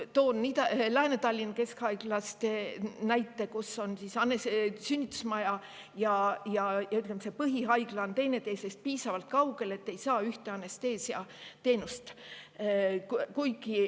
Toon näite Lääne-Tallinna Keskhaiglast, kus on sünnitusmaja ja põhihaigla teineteisest piisavalt kaugel, et ei saa ühte anesteesiateenust.